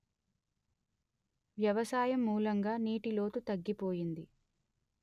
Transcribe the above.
వ్యవసాయం మూలంగా నీటి లోతు తగ్గిపోయింది